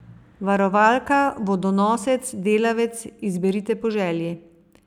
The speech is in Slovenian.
Varovalka, vodonosec, delavec, izberite po želji.